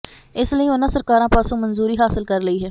ਇਸ ਲਈ ਉਨ੍ਹਾਂ ਸਰਕਾਰ ਪਾਸੋਂ ਮਨਜ਼ੂਰੀ ਹਾਸਲ ਕਰ ਲਈ ਹੈ